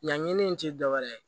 Yanni n tɛ dɔwɛrɛ ye